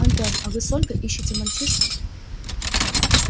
антон а вы с ольгой ищите мальчишку